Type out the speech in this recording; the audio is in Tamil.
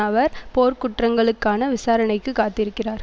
அவர் போர்க்குற்றங்களுக்கான விசாரணைக்கு காத்திருக்கிறார்